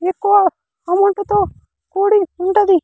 ఎక్కువ అమౌంట్ తో కూడి ఉంటది.